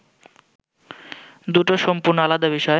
দুটো সম্পূর্ণ আলাদা বিষয়!